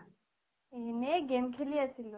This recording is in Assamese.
এনে game খেলি আছিলো।